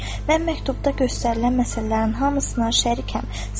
Mən məktubda göstərilən məsələlərin hamısına şərikəm.